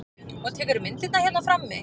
Og tekurðu myndirnar hérna frammi?